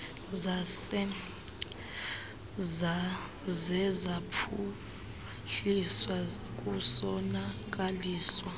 zaze zaphuhliswa kusonakaliswa